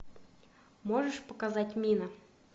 можешь показать мина